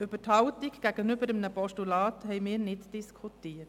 Über die Haltung gegenüber einem Postulat haben wir nicht diskutiert.